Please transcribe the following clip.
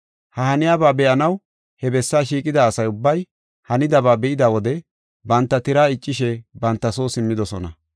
Ha haniyaba be7anaw he bessaa shiiqida asa ubbay hanidaba be7ida wode banta tiraa iccishe banta soo simmidosona.